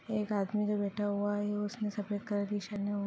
एक आदमी जो बैठा हुआ है उसने सफेद कलर की --